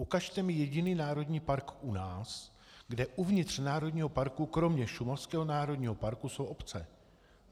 Ukažte mi jediný národní park u nás, kde uvnitř národního parku kromě šumavského národního parku jsou obce.